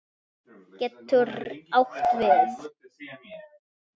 getur átt við